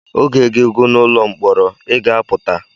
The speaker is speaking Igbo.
Oge gị gụ n’ụlọ mkpọrọ, ị ga-apụta